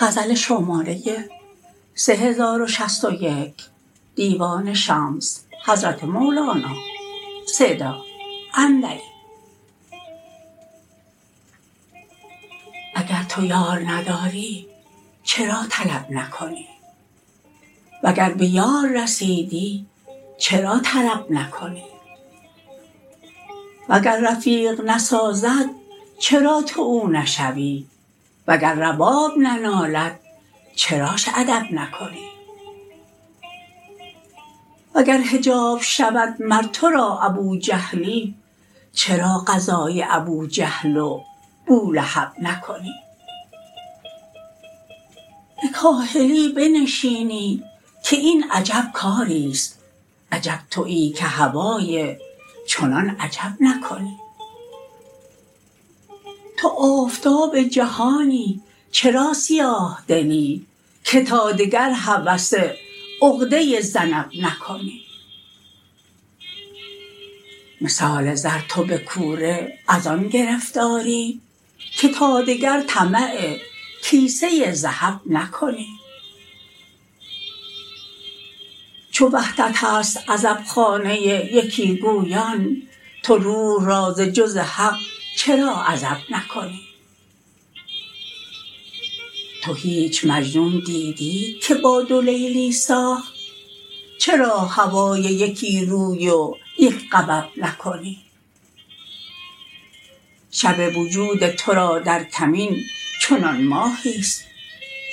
اگر تو یار نداری چرا طلب نکنی وگر به یار رسیدی چرا طرب نکنی وگر رفیق نسازد چرا تو او نشوی وگر رباب ننالد چراش ادب نکنی وگر حجاب شود مر تو را ابوجهلی چرا غزای ابوجهل و بولهب نکنی به کاهلی بنشینی که این عجب کاریست عجب توی که هوای چنان عجب نکنی تو آفتاب جهانی چرا سیاه دلی که تا دگر هوس عقده ذنب نکنی مثال زر تو به کوره از آن گرفتاری که تا دگر طمع کیسه ذهب نکنی چو وحدتست عزبخانه یکی گویان تو روح را ز جز حق چرا عزب نکنی تو هیچ مجنون دیدی که با دو لیلی ساخت چرا هوای یکی روی و یک غبب نکنی شب وجود تو را در کمین چنان ماهیست